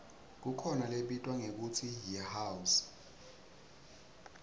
kukhona lebitwa ngekutsi yihouse